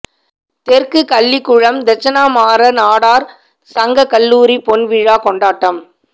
தெற்கு கள்ளிகுளம் தெட்சணமாற நாடாா் சங்க கல்லூரி பொன் விழா கொண்டாட்டம்